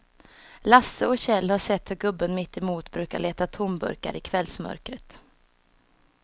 Lasse och Kjell har sett hur gubben mittemot brukar leta tomburkar i kvällsmörkret.